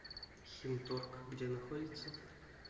химторг где находится